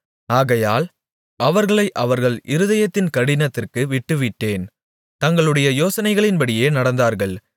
ஆகையால் அவர்களை அவர்கள் இருதயத்தின் கடினத்திற்கு விட்டுவிட்டேன் தங்களுடைய யோசனைகளின்படியே நடந்தார்கள்